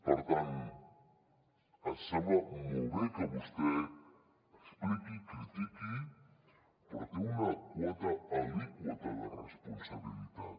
per tant em sembla molt bé que vostè expliqui critiqui però hi té una quota alíquota de responsabilitat